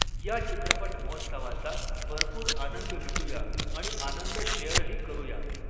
या चित्रपट महोत्सवाचा भरपूर आनंद ल़ुटुया आणि आनंद शेअरही करूया.